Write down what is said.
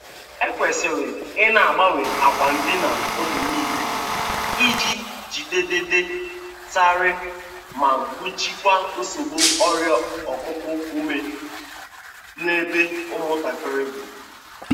E kwesịrị i na-agbanwe akwa ndina oge nịle iji jigideiịdị tarịị ma gbochiekwa nsogbu ọrịa okuku ume n'ebe ụmụ ntakịrị dị.